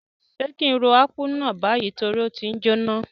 Sé ki n ro Akpu náà bayi torí o ti njoná?